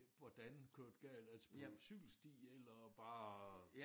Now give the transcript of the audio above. Hvordan kørt galt altså på cykelsti eller bare